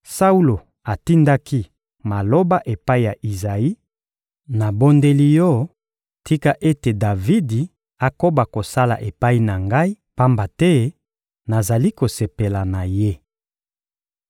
Saulo atindaki maloba epai ya Izayi: «Nabondeli yo, tika ete Davidi akoba kosala epai na ngai, pamba te nazali kosepela na ye.»